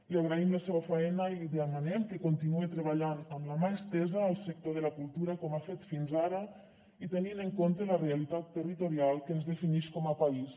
li agraïm la seua faena i li demanem que continue treballant amb la mà estesa al sector de la cultura com ha fet fins ara i tenint en compte la realitat territorial que ens definix com a país